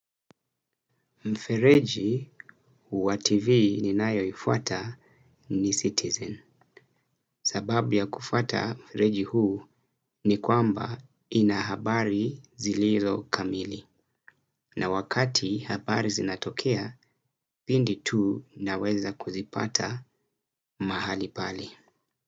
Mfereji wa TV ninayoifuata ni Citizen. Sababu ya kufuata mfereji huu ni kwamba ina habari zilizo kamili na wakati habari zinatokea pindi tu naweza kuzipata mahali pale.